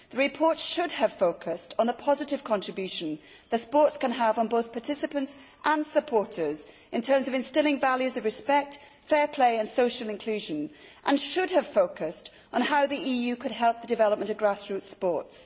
The report should have focused on the positive contribution that sports can have on both participants and supporters in terms of instilling values of respect, fair play and social inclusion, and should have focused on how the EU could help the development of grass root sports.